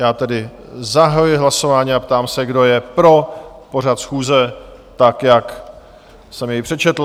Já tedy zahajuji hlasování a ptám se, kdo je pro pořad schůze tak, jak jsem jej přečetl?